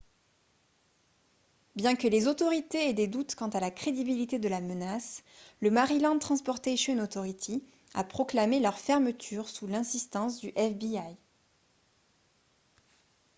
bien que les autorités aient des doutes quant à la crédibilité de la menace le maryland transportation authority a proclamé leur fermeture sous l'insistance du fbi